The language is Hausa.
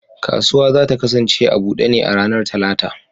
Kasuwa za ta kasance a bude ne a ranar Talata.